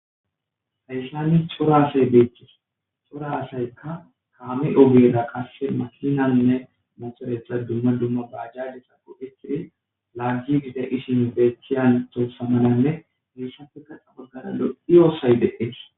Hayssani cora asay beeththis; cora asaykka kaame ogeera qasse makinanne mothoretha dumma dumma baajaajetha go7eththiri laaggiiddi de7ishin beeththiya anththossa malanne heessappeka guye baggara lo7iya sohay de7ees.